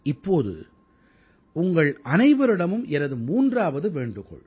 இப்போது உங்கள் அனைவரிடமும் எனது மூன்றாவது வேண்டுகோள்